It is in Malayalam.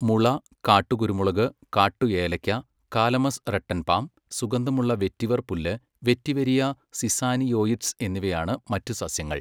മുള, കാട്ടുകുരുമുളക്, കാട്ടുഏലയ്ക്ക, കാലമസ് റട്ടൻ പാം, സുഗന്ധമുള്ള വെറ്റിവർ പുല്ല്, വെറ്റിവെരിയ സിസാനിയോയിഡ്സ് എന്നിവയാണ് മറ്റ് സസ്യങ്ങൾ.